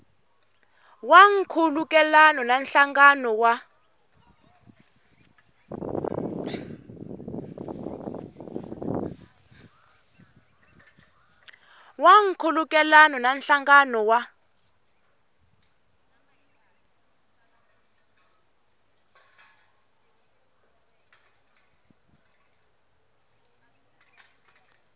wa nkhulukelano na nhlangano wa